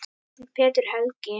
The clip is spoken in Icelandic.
Þinn, Pétur Helgi.